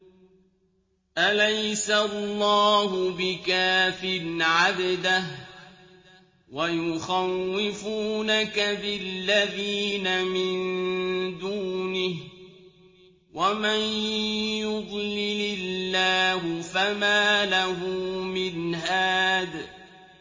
أَلَيْسَ اللَّهُ بِكَافٍ عَبْدَهُ ۖ وَيُخَوِّفُونَكَ بِالَّذِينَ مِن دُونِهِ ۚ وَمَن يُضْلِلِ اللَّهُ فَمَا لَهُ مِنْ هَادٍ